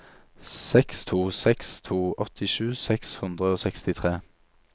seks to seks to åttisju seks hundre og sekstitre